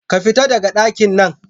Ka fita daga dakinnan!